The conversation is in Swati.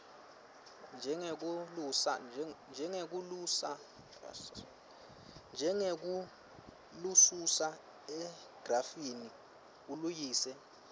njengekulususa egrafini aluyise